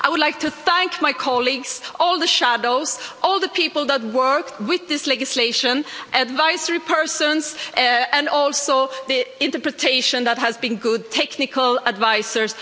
I would like to thank my colleagues, all the shadows, all the people that worked with this legislation, the advisors, and also the interpretation, which has been good, the technical advisers.